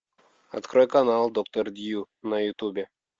открой канал доктор дью на ютубе